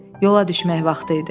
Yola düşmək vaxtı idi.